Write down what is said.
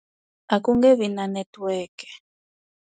A ku nge vi na network.